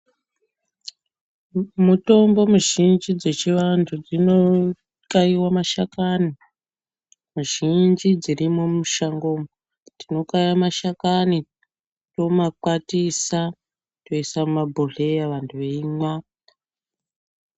Mitombo mizhinji dzechiantu dzinoxaiwa mashakanyi, mizhinji dziri mumashango umu tinoxaya mashakanyi tomakwatisa, toisa mumabhohleya vantu voimwa.